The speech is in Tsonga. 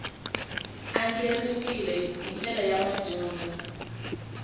andlariwile hi ndlela ya madyondza